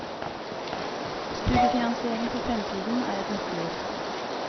Studiefinansiering for fremtiden er ett nøkkelord.